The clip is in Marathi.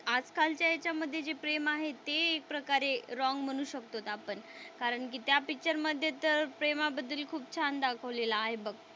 आज कालच्या ह्यांच्यामध्ये जे प्रेम आहे ते एक प्रकारे रॉंग म्हणू शकतो आपण कारण कि त्या पिक्चर मध्ये तर प्रेमाबद्दल खूप छान दाखवलेलं आहे बघ.